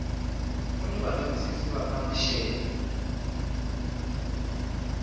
kuni valavisisi va ta maxelo